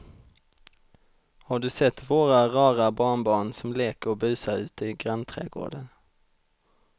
Har du sett våra rara barnbarn som leker och busar ute i grannträdgården!